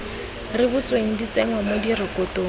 rebotsweng di tsenngwa mo direkotong